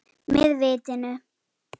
Með vitinu.